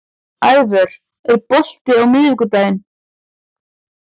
Ævör, er bolti á miðvikudaginn?